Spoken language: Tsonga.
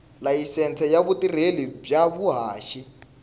layisense ya vutirheli bya vuhaxi